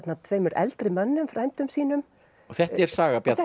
tveimur eldri mönnum frændum sínum þetta er saga Bjarna